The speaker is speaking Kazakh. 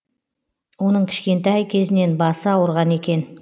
оның кішкентай кезінен басы ауырған екен